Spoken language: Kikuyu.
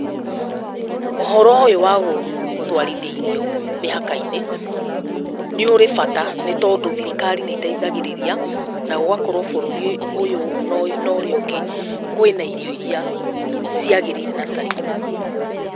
Ũhoro ũyũ wa gũtwarithia irio mĩhaka-inĩ, nĩ ũrĩ bata, nĩ tondũ thirikari nĩteithagĩrĩria, na gũgakorwo bũrũri ũyũ no ũrĩa ũngĩ kwĩ na irio irĩa ciagĩrĩire na citarĩ kuo.